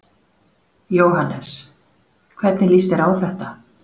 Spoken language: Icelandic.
Jóhannes: Hvernig líst þér á þetta?